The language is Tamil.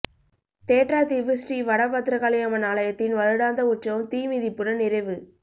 தேற்றாத்தீவு ஸ்ரீ வட பத்திரகாளி அம்மன் ஆலயத்தின் வருடாந்த உற்சவம் தீ மிதிப்புடன் நிறைவு